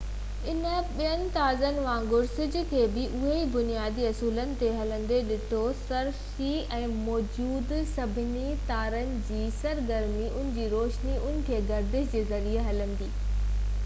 انهن ٻين تارن وانگر سج کي بہ انهيءِ بنيادي اصولن تي هلندي ڏٺو سرشتي ۾ موجود سڀني تارن جي سرگرمي ان جي روشني ان جي گردش جي ذريعي هلندي ڏٺي ٻيو ڪجهہ بہ نہ